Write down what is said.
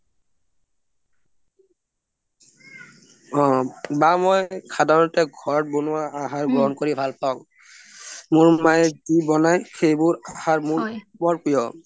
বা মই সাধাৰণতে ঘৰত বনোৱা আহাৰ গ্ৰহণ কৰি ভাল পাওঁ মোৰ মায়ে যি বনাই খাই মোৰ বৰ প্ৰিয়